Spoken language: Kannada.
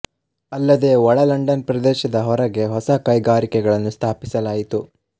ಅಲ್ಲದೇ ಒಳ ಲಂಡನ್ ಪ್ರದೇಶದ ಹೊರಗೆ ಹೊಸ ಕೈಗಾರಿಕೆಗಳನ್ನು ಸ್ಥಾಪಿಸಲಾಯಿತು